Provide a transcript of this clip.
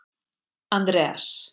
Andreas